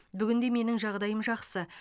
бүгінде менің жағдайым жақсы